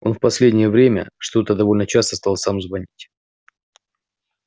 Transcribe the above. он в последнее время что-то довольно часто стал сам звонить